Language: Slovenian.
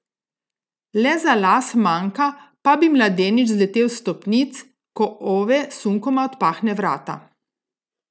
Le za las manjka, pa bi mladenič zletel s stopnic, ko Ove sunkoma odpahne vrata.